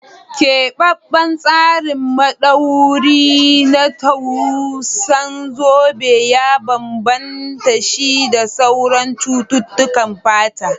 Keɓaɓɓen tsarin madauwari na tsutsan zobe ya bambanta shi da sauran cututtukan fata.